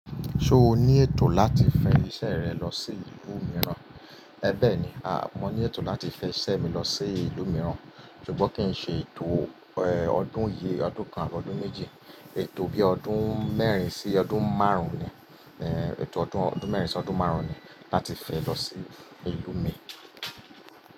Ṣo ní ètò láti fẹ iṣẹ rẹ lọ sí ìlú mìíràn? Ẹ̀bẹ̀ ni, a, mo ní ètò láti fẹ iṣẹ́ mi lọ sí ìlú mìíràn, ṣùgbọ́n kín ṣe ètò, ẹ, ọdún yi, ọdún kan àbọ́ ọdún méji, ètò bí ọdún mẹ́rin sí ọdún márùn-ún ni, ẹ, ètò ọdún, ọdún mẹ́rin sí ọdún márùn-ún ni láti fẹ lọ sí ìlú mi.